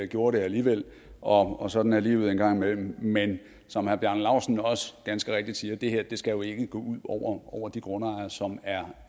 gjorde det alligevel og og sådan er livet en gang imellem men som herre bjarne laustsen også ganske rigtigt siger skal det her jo ikke gå ud over de grundejere som er